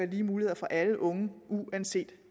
lige muligheder for alle unge uanset